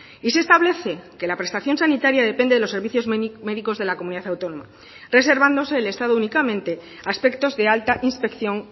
y se establece que la prestación sanitaria depende de los servicios médicos de la comunidad autónoma reservándose el estado únicamente aspectos de alta inspección